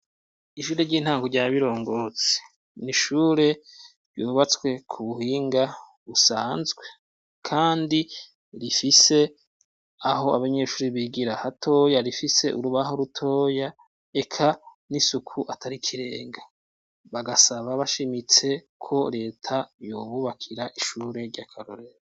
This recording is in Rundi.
Ishure ry'intango rya Birongozi ni ishure ryubatswe ku buhinga busanzwe, kandi rifise aho abanyeshuri bigira hatoya, rifise urubaho rutoya eka n'isuku atari ikirenga. Bagasaba bashimitse ko leta yobubakira ishure ry'akarorero.